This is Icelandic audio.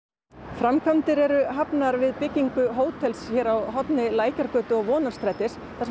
framkvæmdir eru hafnar við byggingu hótels hér á horni Lækjargötu og Vonarstrætis þar